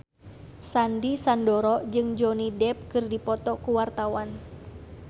Sandy Sandoro jeung Johnny Depp keur dipoto ku wartawan